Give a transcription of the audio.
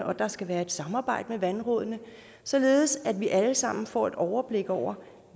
og at der skal være et samarbejde med vandrådene således at vi alle sammen får et overblik over